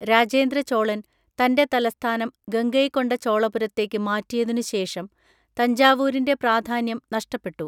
രാജേന്ദ്ര ചോളൻ തന്‍റെ തലസ്ഥാനം ഗംഗൈകൊണ്ട ചോളപുരത്തേക്ക് മാറ്റിയതിനുശേഷം തഞ്ചാവൂരിന്‍റെ പ്രാധാന്യം നഷ്ടപ്പെട്ടു.